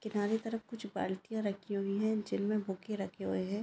किनारे तरफ कुछ बालकिया रखी हुए है जिनमे बुके रखे हुए है.